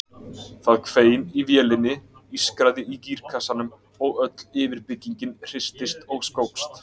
Það hvein í vélinni, ískraði í gírkassanum og öll yfirbyggingin hristist og skókst.